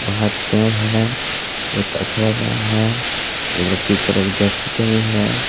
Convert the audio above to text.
बाहर पेड़ है बहुत अच्छा लग रहा है एक लड़की चरक जर्सी पहनी है